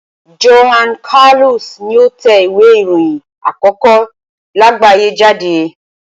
Johann Carolus ni ó tẹ ìwé ìròyìn àkókó láàgbáyé jáde.